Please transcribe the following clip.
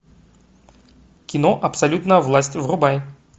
кино абсолютная власть врубай